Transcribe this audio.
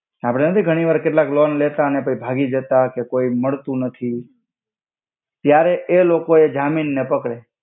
આપડે નાથી ઘણિ વાર કેટ્લાક લોન લેતા અને કોઇ ભાગિ જાતા કે કોઇ મડ્તુ નથિ ત્યરે એ લોકો એ જામિન ને પકડે.